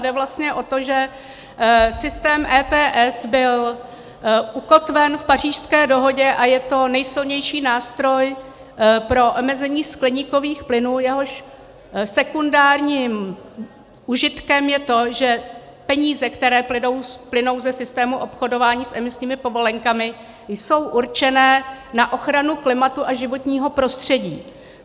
Jde vlastně o to, že systém ETS byl ukotven v Pařížské dohodě a je to nejsilnější nástroj pro omezení skleníkových plynů, jehož sekundárním užitkem je to, že peníze, které plynou ze systému obchodování s emisními povolenkami, jsou určené na ochranu klimatu a životního prostředí.